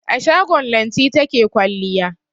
A shago Lanti take kwalliya.